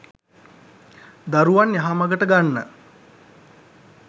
දරුවන් යහමගට ගන්න